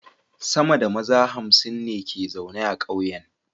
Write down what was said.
Sama da maza hamsin ne ke zaune a kauyen